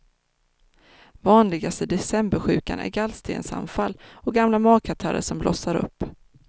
Vanligaste decembersjukan är gallstensanfall och gamla magkatarrer som blossar upp.